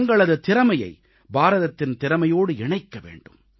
தங்களது திறமையை பாரதத்தின் திறமையோடு இணைக்க வேண்டும்